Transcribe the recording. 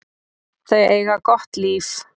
Þau eiga gott líf.